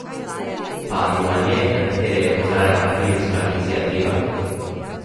Pa anomalije, na katere je opozarjala Filmska iniciativa?